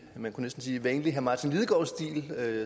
man næsten sige vanlig martin lidegaard stil det